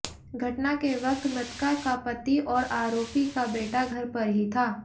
घटना के वक्त मृतका का पति और आरोपी का बेटा घर पर ही था